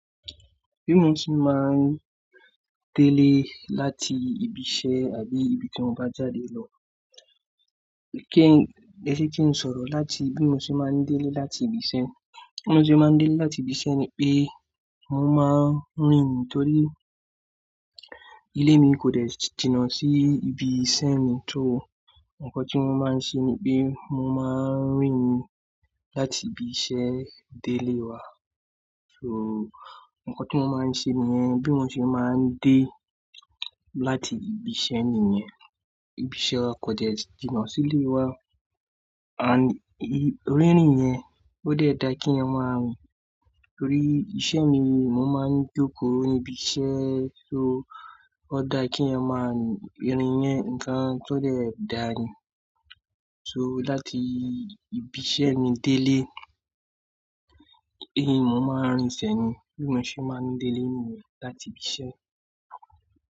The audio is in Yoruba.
Bí mo ṣe máa ń délé láti ibi iṣẹ́ àbí ibi tí mo bá jáde lọ. Kí-- ẹsẹ kin sọ̀rọ̀ láti bí mo ṣe máa ń délé láti ibi iṣẹ́. Bí mo ṣe máa ń délé láti ibi iṣẹ́ ni pé mo máa ń rìn nítorí ilé mi kò de jìnà sí ibi iṣẹ́ mi. Só awon nkàn tí mo máa ń ṣe ni pé mo máa ń rìn láti ibi iṣẹ́ délé wá. So nkàn tí mo máa ń ṣe níyẹn. Bí mo ṣe máa ń dé láti ibi iṣẹ́ nìyẹn. Ibi iṣẹ́ wa kò dè jìnà sílé wa and rín-rìn yẹn ó dẹ dà kí ẹyan máa rìn. Torí iṣẹ́ mi mo máa ń jókòó níbi iṣẹ́ so ó dà kí ẹyan máa rìn. Irìn yẹn nǹkan tó dẹ dà ni. So láti ibi iṣẹ́ mi délé, ẹ mo máa ń rìn sẹ́ni bí mo ṣe máa ń délé nìyẹn láti ibi iṣẹ́.